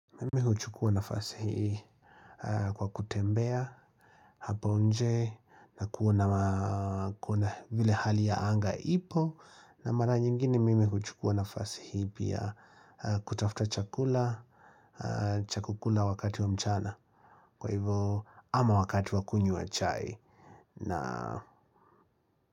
Mimi huchukua nafasi hii kwa kutembea hapo nje na kuona vile hali ya anga ipo na mara nyingine mimi kuchukua nafasi hii pia kutafuta chakula cha kukula wakati wa mchana kwa hivo ama wakati wa kunywa chai na.